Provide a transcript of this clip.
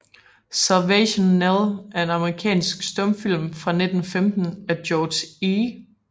Salvation Nell er en amerikansk stumfilm fra 1915 af George E